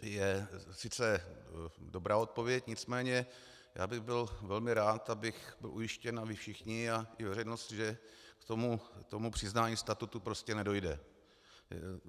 je sice dobrá odpověď, nicméně já bych byl velmi rád, abych byl ujištěn, a vy všichni a i veřejnost, že k tomu přiznání statusu prostě nedojde.